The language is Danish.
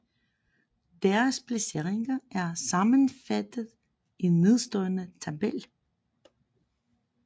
Deres placeringer er sammenfattet i nedenstående tabel